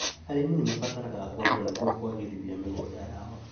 Arĩmi nĩmarabatara ngombo nĩguo kwagĩrithia mĩgũnda yao